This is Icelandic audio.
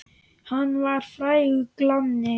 Hann var frægur glanni.